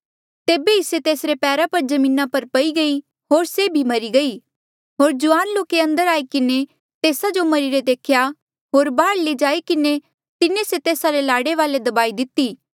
तेभे ई से तेसरे पैरा पर जमीना पर पई गई होर से मरी गई होर जुआन लोके अंदर आई किन्हें तेस्सा जो मरिरे देख्या होर बाहर लई जाई किन्हें तिन्हें से तेस्सा रे लाड़े वाले दबाई दिती